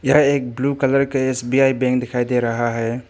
यह एक blue colour के एस_बी_ई बैंक दिखाई दे रहा है।